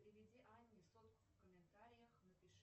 переведи анне сотку в комментариях напиши